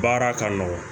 Baara ka nɔgɔn